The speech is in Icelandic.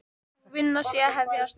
Sú vinna sé að hefjast.